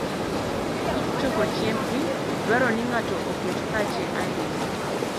Tij choko chiembgi dwaro ni ng'ato oket pache ahinya.